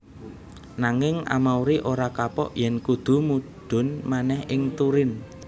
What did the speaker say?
Nanging Amauri ora kapok yèn kudu mudhun manèh ing Turin